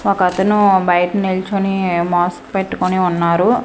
ఒక అతను బయట నిల్చోని మాస్క్ పెట్టుకొని ఉన్నారు.